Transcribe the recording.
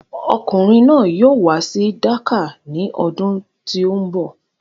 Ọkùnrin náà yóò wá sí Dakar ní ọdún tí o ń bọ̀.